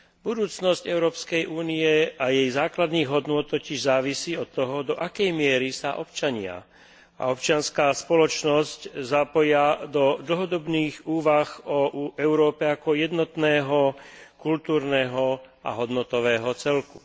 Budúcnosť Európskej únie a jej základných hodnôt totiž závisí od toho, do akej miery sa občania a občianska spoločnosť zapoja do dlhodobých úvah o Európe ako jednotnom kultúrnom a hodnotovom celku.